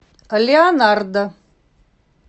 леонардо